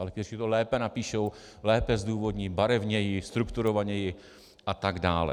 Ale kteří to lépe napíšou, lépe zdůvodní, barevněji, strukturovaněji a tak dále.